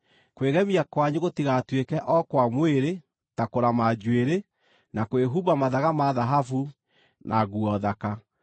Kwĩgemia kwanyu gũtigatuĩke o kwa mwĩrĩ, ta kũrama njuĩrĩ, na kwĩhumba mathaga ma thahabu na nguo thaka,